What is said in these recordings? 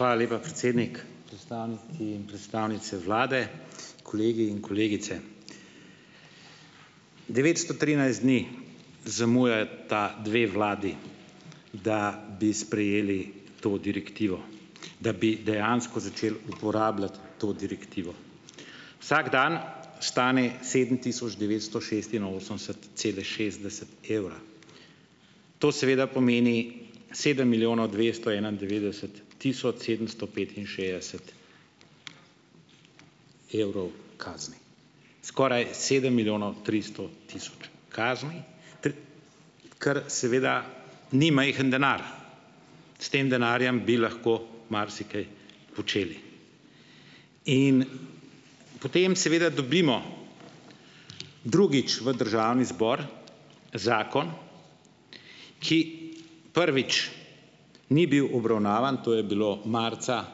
Hvala lepa, predsednik. Predstavniki in predstavnice vlade, kolegi in kolegice! Devetsto trinajst dni zamujata dve vladi, da bi sprejeli to direktivo, da bi dejansko začeli uporabljati to direktivo. Vsak dan stane sedem tisoč devetsto šestinosemdeset cela šestdeset evra, to seveda pomeni sedem milijonov dvesto enaindevetdeset tisoč sedemsto petinšestdeset evrov kazni, skoraj sedem milijonov tristo tisoč kazni, kar seveda ni majhen denar. S tem denarjem bi lahko marsikaj počeli. In potem seveda dobimo drugič v državni zbor zakon, ki, prvič, ni bil obravnavan - to je bilo marca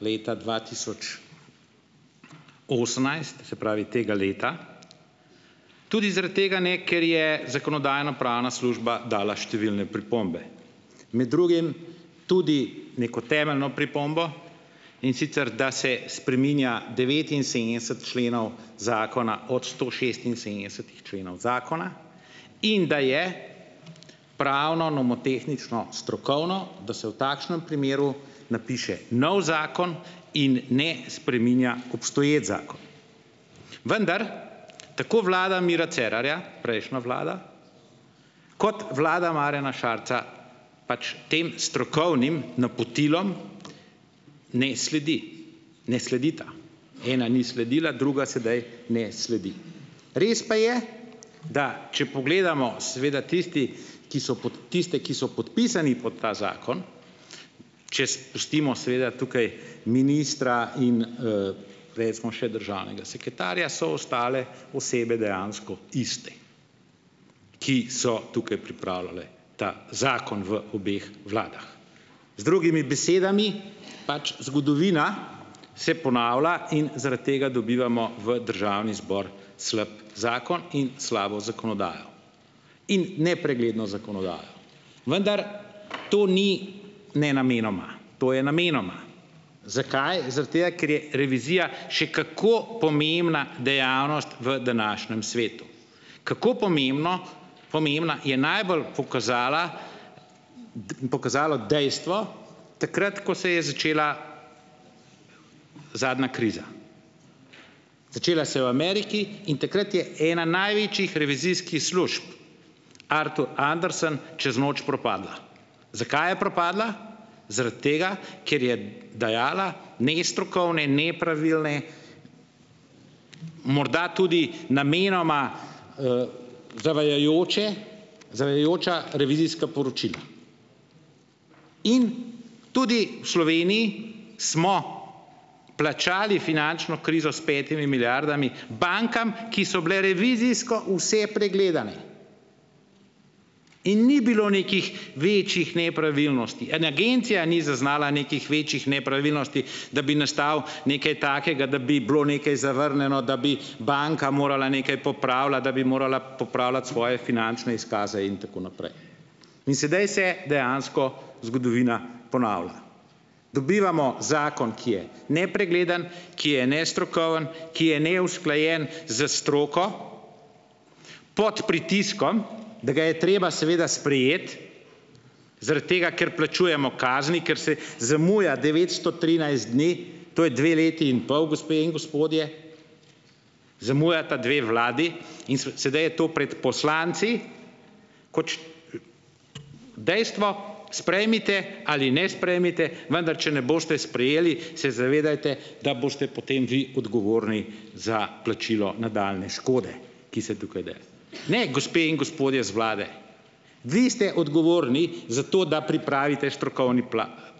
leta dva tisoč, osemnajst se pravi, tega leta -, tudi zaradi tega, ne, ker je zakonodajno-pravna služba dala številne pripombe. Med drugim tudi neko temeljno pripombo, in sicer da se spreminja devetinsedemdeset členov zakona od sto šestinsedemdesetih členov zakona in da je pravno, nomotehnično, strokovno, da se v takšnem primeru napiše novi zakon in ne spreminja obstoječi zakon. Vendar tako vlada Mira Cerarja, prejšnja vlada, kot vlada Marjana Šarca pač tem strokovnim napotilom ne sledi, ne sledita, ena ni sledila, druga sedaj ne sledi. Res pa je, da če pogledamo, seveda tisti, ki so pod tiste, ki podpisani pod ta zakon, če spustimo seveda tukaj ministra in, recimo, še državnega sekretarja, so ostale osebe dejansko iste, ki so tukaj pripravljale ta zakon v obeh vladah. Z drugimi besedami, pač zgodovina se ponavlja in zaradi tega dobivamo v državni zbor slab zakon in slabo zakonodajo. In nepregledno zakonodajo. Vendar to ni nenamenoma, to je namenoma. Zakaj? Zaradi tega, ker je revizija še kako pomembna dejavnost v današnjem svetu. Kako pomembno, pomembna, je najbolj pokazala pokazalo dejstvo takrat, ko se je začela zadnja kriza. Začela se je v Ameriki in takrat je ena največjih revizijskih služb Arthur Andersen čez noč propadla. Zakaj je propadla? Zaradi tega, ker je dajala nestrokovne, nepravilne, morda tudi namenoma, zavajajoče, zavajajoča revizijska poročila. In tudi v Sloveniji smo plačali finančno krizo s petimi milijardami bankam, ki so bile revizijsko vse pregledane in ni bilo nekih večjih nepravilnosti. In Agencija ni zaznala nekih večjih nepravilnosti, da bi nastalo nekaj takega, da bi bilo nekaj zavrnjeno, da bi banka morala nekaj popravljati, da bi morala popravljati svoje finančne izkaze in tako naprej. In sedaj se dejansko zgodovina ponavlja. Dobivamo zakon, ki je nepregleden, ki je nestrokoven, ki je neusklajen s stroko, pod pritiskom, da ga je treba seveda sprejeti, zaradi tega, ker plačujemo kazni, ker se zamuja devetsto trinajst dni, to je dve leti in pol, gospe in gospodje, zamujata dve vladi, in so sedaj je to pred poslanci, kot dejstvo - sprejmite ali ne sprejmite, vendar če ne boste sprejeli, se zavedajte, da boste potem vi odgovorni za plačilo nadaljnje škode, ki se tukaj da. Ne, gospe in gospodje z vlade! Vi ste odgovorni za to, da pripravite strokovni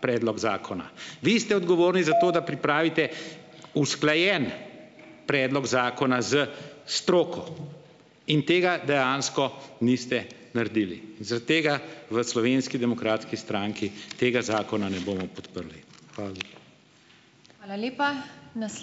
predlog zakona. Vi ste odgovorni za to, da pripravite usklajen predlog zakona s stroko. In tega dejansko niste naredili. Zaradi tega v Slovenski demokratski stranki tega zakona ne bomo podprli. Hvala lepa.